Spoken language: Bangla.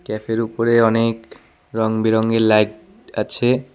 ক্যাফের উপরে অনেক রঙবেরঙের লাইট আছে।